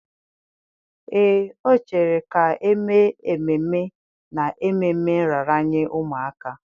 Ee, o chere ka e mee ememe n'ememme nraranye ụmụaka